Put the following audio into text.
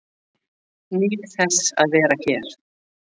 Nýt þess að vera hér